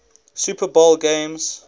super bowl games